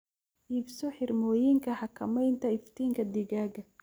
Iibso xirmooyinka xakamaynta iftiinka digaagga.